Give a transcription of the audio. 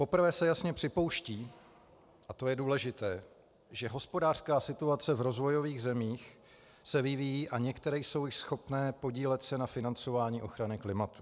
Poprvé se jasně připouští, a to je důležité, že hospodářská situace v rozvojových zemích se vyvíjí a některé jsou již schopné podílet se na financování ochrany klimatu.